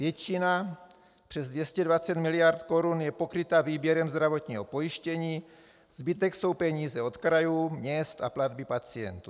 Většina, přes 220 miliard korun, je pokryta výběrem zdravotního pojištění, zbytek jsou peníze od krajů, měst a platby pacientů.